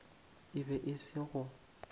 e be e se go